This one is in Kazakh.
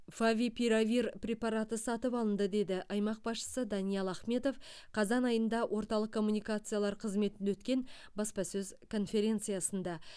фавипиравир препараты сатып алынды деді аймақ басшысы даниал ахметов қазан айында орталық коммуникациялар қызметінде өткен баспасөз конференциясында